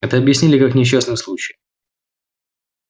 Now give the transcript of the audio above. это объяснили как несчастный случай